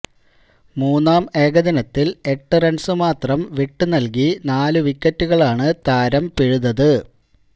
മൂന്നാം ഏകദിനത്തില് എട്ടു റണ്സ് മാത്രം വിട്ടുനല്കി നാലു വിക്കറ്റുകളാണ് താരം പിഴുതത്